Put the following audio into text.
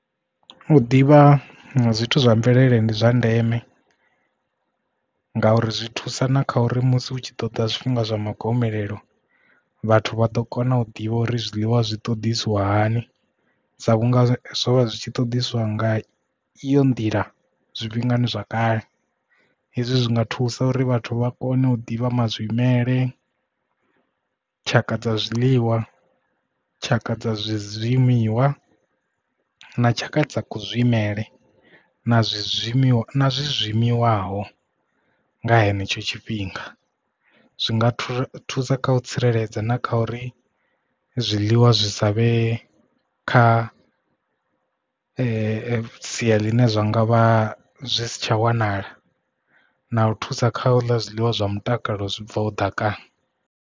U ḓivha zwithu zwa mvelele ndi zwa ndeme ngauri zwi thusa na kha uri musi hu tshi ḓoḓa zwifhinga zwa ma gomelelo vhathu vha ḓo kona u ḓivha uri zwiḽiwa zwi ṱoḓisiwa hani sa vhunga zwo vha zwi tshi ṱoḓeswa nga iyo nḓila zwifhinga zwa kale hezwi zwinga thusa uri vhathu vha kone u ḓivha mazwimele tshaka dza zwiḽiwa tshaka dza zwizwimiwa na tshaka dza ku zwimela na zwimima zwezwi shumiwaho nga henetsho tshifhinga zwinga thusa kha u tsireledza na kha uri zwiḽiwa zwi sa vhe kha sia ḽine zwine zwa ngavha zwi si tsha wanala na u thusa kale zwiḽiwa zwa mutakalo zwi bvaho ḓakani.